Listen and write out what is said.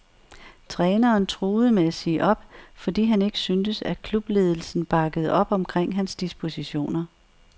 Træneren truede med at sige op, fordi han ikke syntes, at klubledelsen bakkede op omkring hans dispositioner.